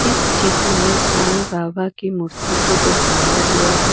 इस चित्र में साईं बाबा की मूर्ति को दर्शाया गया है।